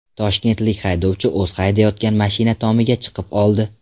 Toshkentlik haydovchi o‘zi haydayotgan mashina tomiga chiqib oldi .